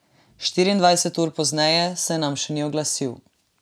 Štiriindvajset ur pozneje se nam še ni oglasil.